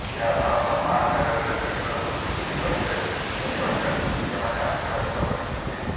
ଏହା ଭାରତ ମହାସାଗରରେ ଚୀନର ଶକ୍ତି ବୃଦ୍ଧି କରିବ ବୋଲି ରକ୍ଷା ବିଶେଷଜ୍ଞମାନେ ଆଶଙ୍କା ବ୍ୟକ୍ତ କରିଛନ୍ତି